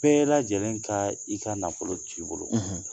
Bɛɛ lajɛlen ka i ka nafolo t'i bolo